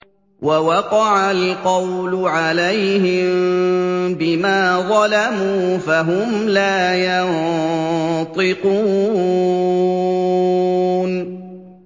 وَوَقَعَ الْقَوْلُ عَلَيْهِم بِمَا ظَلَمُوا فَهُمْ لَا يَنطِقُونَ